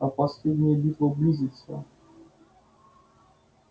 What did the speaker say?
а последняя битва близится